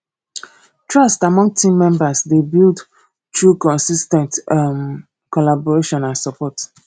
trust among team members dey build through consis ten t um collaboration and support